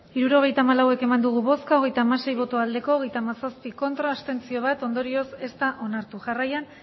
hirurogeita hamalau eman dugu bozka hogeita hamasei bai hogeita hamazazpi ez bat abstentzio ondorioz ez da onartu jarraian